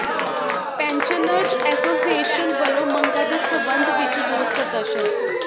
pensioners association ਵਲੋਂ ਮੰਗਾਂ ਦੇ ਸਬੰਧ ਵਿਚ ਰੋਸ ਪ੍ਰਦਰਸ਼ਨ